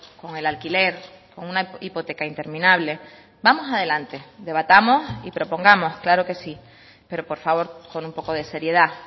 con el alquiler con una hipoteca interminable vamos adelante debatamos y propongamos claro que sí pero por favor con un poco de seriedad